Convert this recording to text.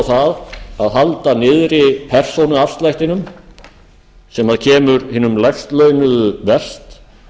það að halda niðri persónuafslættinum sem kemur hinum lægst launuðu verst